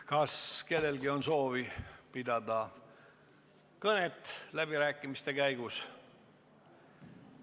Kas kellelgi on soovi pidada läbirääkimiste käigus kõnet?